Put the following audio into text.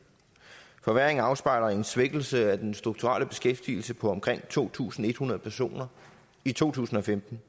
forværringen afspejler en svækkelse af den strukturelle beskæftigelse på omkring to tusind en hundrede personer i to tusind og femten